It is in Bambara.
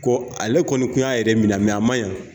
Ko ale kɔni kun y'a yɛrɛ minɛ a ma ɲɛn